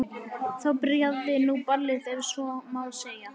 Þá byrjaði nú ballið ef svo má segja.